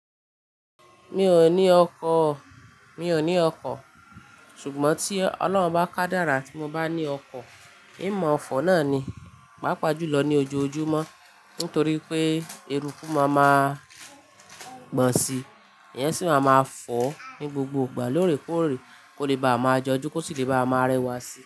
Mi ò ní ọkọ̀, mi ò ní ọkọ̀. Ṣùgbọ́n tí Ọlọ́run bá ká dára tí mo bá ní ọkọ̀, ìmọ̀ ọ̀fọ̀ náà ni, pàápàá jùlọ ní ojoojúmọ́. Nítorí pé eruku máa ma gbọ̀n si, ìyẹn sì máa ma fọ́ ní gbogbo ìgbà lóòrèkóòrè kó lè bá a máa jọjú kò sì lè bá a máa rẹwà si.